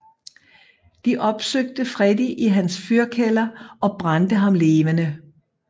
De opsøgte Freddy i hans fyrkælder og brændte ham levende